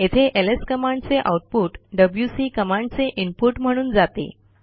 येथे एलएस कमांडचे output W C कमांडचे इनपुट म्हणून जाते